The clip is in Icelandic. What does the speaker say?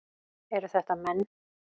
Eru þetta menn?